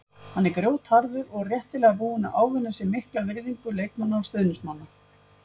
Hann er grjótharður og réttilega búinn að ávinna sér mikla virðingu leikmanna og stuðningsmanna.